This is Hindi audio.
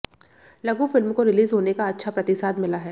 लघु फिल्म को रिलीज होने का अच्छा प्रतिसाद मिला है